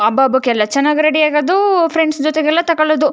ಹಬ್ಬ ಹಬ್ಬಕ್ಕೆಲ್ಲ ಚೆನ್ನಾಗಿ ರೆಡಿ ಆಗೋದು ಫ್ರೆಂಡ್ಸ್ ಜೊತೆ ಎಲ್ಲ ತಗೊಳ್ಳೋದು.